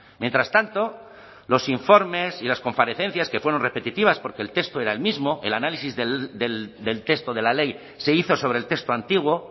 mientras tanto los informes y las comparecencias que fueron repetitivas porque el texto era el mismo el análisis del texto de la ley se hizo sobre el texto antiguo